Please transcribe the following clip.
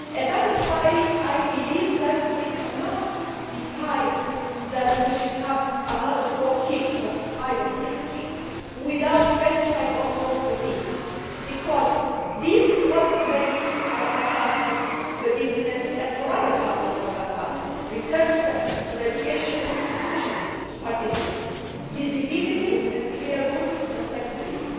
That is why I believe that we cannot decide that we should have another four KICs or five or six KICs without also specifying the themes, because that is what makes it attractive to business and for other partners for that matter, such as research centres and education institutions to participate visibility, clear rules and flexibility.